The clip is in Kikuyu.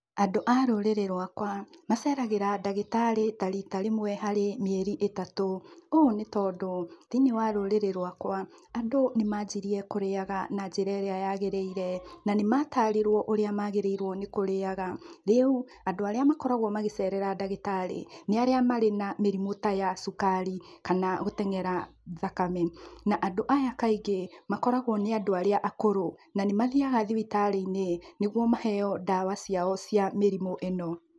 Andũ a rũrĩrĩ rwakwa, maceragĩra ndagĩtarĩ ta rita rĩmwe harĩ mĩeri ĩtatũ. Ũũ nĩ tondũ thĩiniĩ wa rũrĩrĩ rwakwa andũ nĩ manjirie kũrĩaga na njĩra ĩrĩa yagĩrĩire, na nĩ matariruo ũrĩa magĩrĩiruo nĩ kũrĩaga, rĩu andũ arĩa makoragwo magĩcerera ndagĩtari ,nĩ arĩa marĩ na mĩrimũ ta ya sukari, kana gũteng'era thakame. Na andũ aya kaingĩ makoragwo nĩ andũ arĩa akũrũ, na nĩ mathiaga thibitarĩ-inĩ nĩguo maheo dawa ciao cia mĩrimũ ĩno.